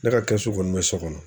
Ne ka kɛsu kɔni bɛ so kɔnɔ